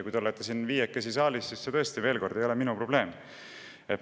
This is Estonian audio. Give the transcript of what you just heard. See, et te viiekesi siin saalis olete, ei ole minu probleem.